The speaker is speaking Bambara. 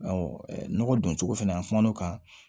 nɔgɔ don cogo fɛnɛ an kumana o kan